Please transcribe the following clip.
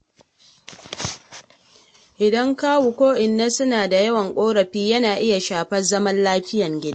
Idan kawu ko inna suna da yawan ƙorafi yana iya shafar zaman lafiyar gida.